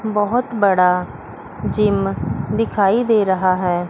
बहुत बड़ा जिम दिखाई दे रहा है।